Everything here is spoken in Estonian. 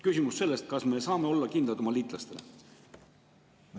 Küsimus on selles, kas me saame olla oma liitlastele kindlad.